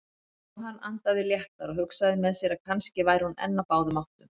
Jóhann andaði léttar og hugsaði með sér að kannski væri hún enn á báðum áttum.